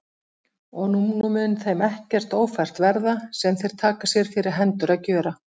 Og nú mun þeim ekkert ófært verða, sem þeir taka sér fyrir hendur að gjöra.